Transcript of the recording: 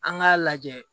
An k'a lajɛ